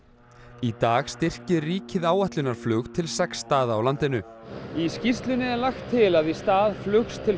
í dag styrkir ríkið áætlunarflug til sex staða á landinu í skýrslunni er lagt til að í stað flugs til